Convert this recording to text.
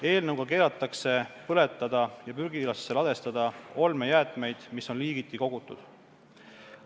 Eelnõuga keelatakse põletada ja prügilasse ladestada olmejäätmeid, mis on liigiti kogutud.